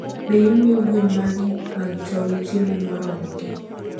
Be imiyo gwen magi mag tong' chiemo moromogi?